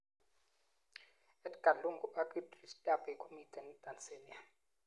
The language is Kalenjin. Edgar lungu ak Idris debby komiten Tanzania